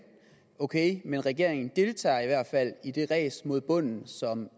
ok men regeringen deltager i hvert fald i det ræs mod bunden som